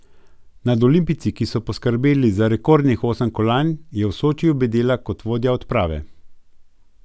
Nad olimpijci, ki so poskrbeli za rekordnih osem kolajn, je v Sočiju bedela kot vodja odprave.